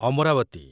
Amaravati